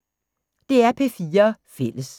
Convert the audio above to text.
DR P4 Fælles